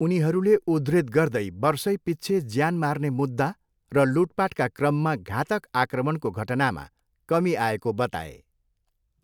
उनीहरूले उद्धृत गर्दै वर्षैपिच्छे ज्यान मार्ने मुद्दा र लुटपाटका क्रममा घातक आक्रमणको घटनामा कमी आएको बताए।